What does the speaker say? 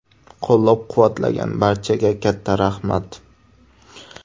Qo‘llab-quvvatlagan barchaga katta rahmat.